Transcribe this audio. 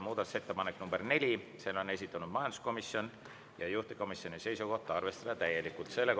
Muudatusettepaneku nr 4 on esitanud majanduskomisjon ja juhtivkomisjoni seisukoht on arvestada seda täielikult.